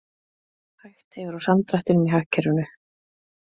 Hægt hefur á samdrættinum í hagkerfinu